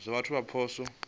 zwa vhathu kha zwipotso na